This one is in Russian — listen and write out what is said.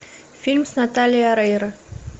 фильм с натальей орейро